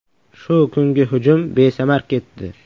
Shu kungi hujum besamar ketdi.